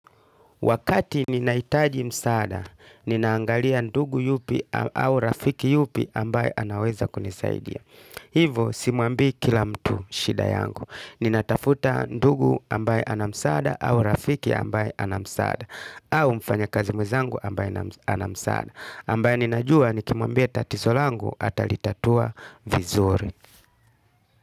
Wakati ninaitaji msaada, ninaangalia ndugu yupi au rafiki yupi ambaye anaweza kunisaidia. Hivo, simuambi kila mtu shida yangu. Ninatafuta ndugu ambaye ana msaada au rafiki ambaye ana msaada. Au mfanya kazi mwezangu ambaye ana msaada. Ambaye ninajua nikimwambia tatiso langu atalitatua vizuri.